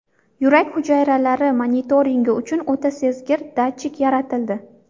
Yurak hujayralari monitoringi uchun o‘ta sezgir datchik yaratildi.